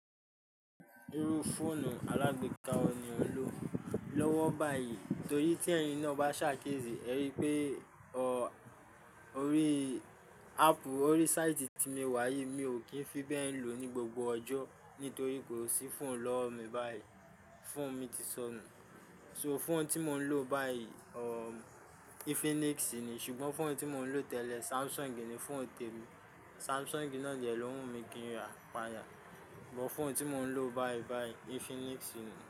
Irú fóònù alágbéka òní ò ń lo lọ́wọ́ báyìí torí tí ẹ̀yin náà bá ṣàkésí, ẹ rí i pé ọ, orí áàpù orí sáìtì tí mo wá yìí mi ò kí ń fi bẹ́ẹ̀ ń lò ó ní gbogbo ọjọ́ nítorí pé ò sí fóònù lọ́wọ́ mi báyìí, fóònù mi ti sọnù. So fóònù tí mò ń lò báyìí, ọ, Infinix ni, ṣùgbọ́n fóònù tí mò ń lò tẹ́lẹ̀ Samsung ni, fóònù tèmi. Samsung náà jẹ ló hùn mi kín ranpa'ya, but fóònù tí mò ń lò báyìí báyìí Infinix ni.